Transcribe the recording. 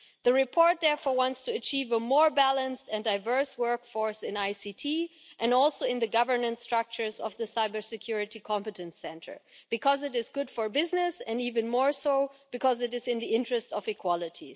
The report therefore wants to achieve a more balanced and diverse workforce in ICT and also in the governance structures of the Cybersecurity Competence Centre because it is good for business, and even more so, because it is in the interest of equality.